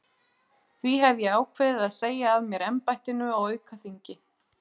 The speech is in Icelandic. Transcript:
Því hef ég ákveðið að segja af mér embættinu á aukaþingi.